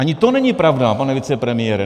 Ani to není pravda, pane vicepremiére.